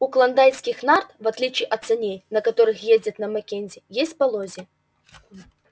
у клондайкских нарт в отличие от саней на которых ездят на маккензи есть полозья